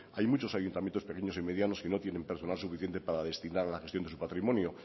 hay muchos ayuntamientos pequeños y medianos que no tienen personal suficiente para destinar a la gestión de su patrimonio